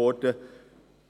Es